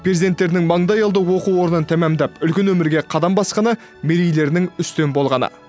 перзенттерінің маңдайалды оқу орнын тәмамдап үлкен өмірге қадам басқаны мерейлерінің үстем болғаны